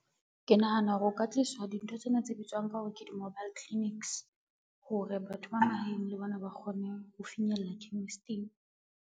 Ke nahana hore o ka tliswa dintho tsena tse bitswang ka hore ke di-mobile clinics, hore batho ba mahaeng le bona ba kgone ho finyella chemist-ing.